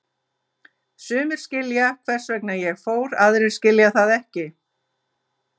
Sumir skilja hvers vegna ég fór, aðrir skilja það ekki.